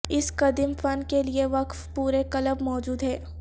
اس قدیم فن کے لئے وقف پورے کلب موجود ہیں